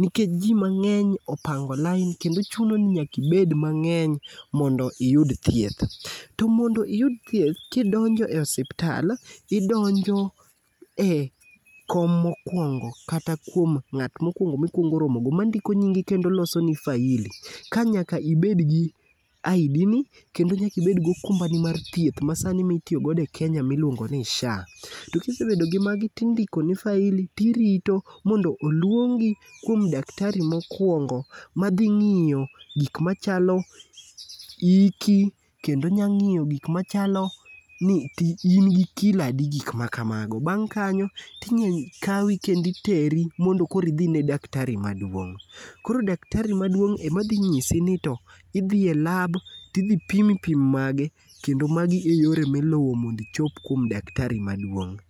Nikech ji mangény opango line, kendo chuno ni nyaka ibed mangény mondo iyud thieth. To mondo iyud thieth, kidonjo e osiptal, idonjo e kom mokuongo, kata kuom ngát mokwongo, mikwongo romogo, mandiko nyingi kendo losoni faili. Ka nyaka ibed gi ID ni, kendo nyaka ibed go okumbani mar thieth ma sani mitiyogo e Kenya miluongoni SHA. To kisebedo gi magi, tindikoni faili, tirito, mondo oluongi kuom daktari mokwongo, ma dhi ngíyo gik machalo iki, kendo onyalo ngíyo gik machalo ni ti in gi kilo adi, gik ma kamago. Bang' kanyo ti nya kawi kendo iteri mondo koro idhi ine daktari maduong'. Koro daktari maduong' ema dhi nyisi ni to idhi e lab, to idhi pimi pim mage. Kendo magi e yore miluwo mondo ichop kuom daktari maduong'.